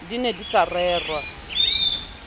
di ne di sa rerwa